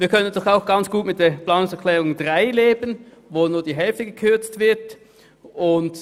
Wir können natürlich auch ganz gut mit der Planungserklärung 3 leben, wo nur um die Hälfte gekürzt werden soll.